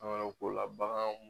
ko la baganw